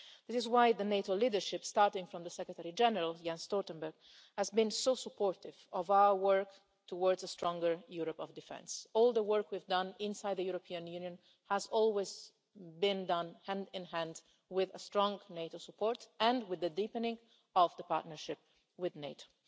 This is why the NATO leadership, starting from the Secretary-General, Jens Stoltenberg, has been so supportive of our work towards a stronger Europe of Defence. All the work we've done inside the European Union has always been done hand in hand with strong NATO support and with the deepening of the partnership with NATO.